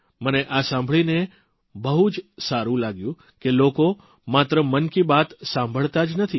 મને આ સાંભળીને બહુ જ સારૂં લાગ્યું કે લોકો માત્ર મન કી બાત સાંભળતા જ નથી